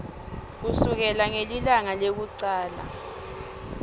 kusukela ngelilanga lekucala